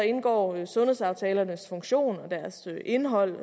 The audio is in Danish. indgår sundhedsaftalernes funktion og deres indhold